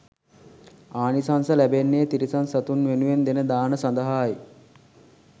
ආනිසංස ලැබෙන්නේ තිරිසන් සතුන් වෙනුවෙන් දෙන දාන සඳහායි.